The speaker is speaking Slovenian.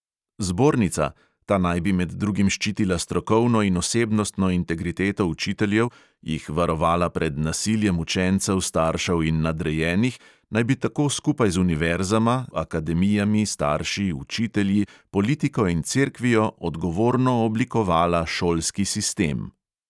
Zbornica – ta naj bi med drugim ščitila strokovno in osebnostno integriteto učiteljev, jih varovala "pred nasiljem učencev, staršev in nadrejenih" – naj bi tako skupaj z univerzama, akademijami, starši, učitelji, politiko in cerkvijo odgovorno oblikovala šolski sistem.